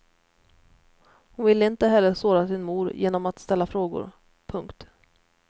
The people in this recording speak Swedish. Hon ville inte heller såra sin mor genom att ställa frågor. punkt